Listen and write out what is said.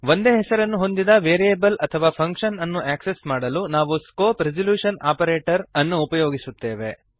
ಒಂದೇ ಹೆಸರನ್ನು ಹೊಂದಿದ ವೇರಿಯಬಲ್ ಅಥವಾ ಫಂಕ್ಶನ್ ಅನ್ನು ಆಕ್ಸೆಸ್ ಮಾಡಲು ನಾವು ಸ್ಕೋಪ್ ರೆಸಲ್ಯೂಶನ್ ಆಪರೇಟರ್ ಅನ್ನು ಉಪಯೋಗಿಸುತ್ತೇವೆ